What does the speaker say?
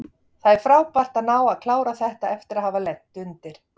Það er frábært að ná að klára þetta eftir að hafa lent undir.